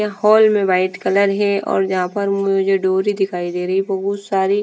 यहाँ हॉल में white colour है और यहाँ पर मुझे डोरी दिखाई दे रही है बोहोत सारी --